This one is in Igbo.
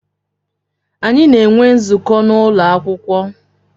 Anyi na enwe nzukọ na ụlọ akwụkwọ.